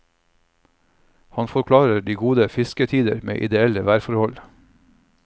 Han forklarer de gode fisketider med ideelle værforhold.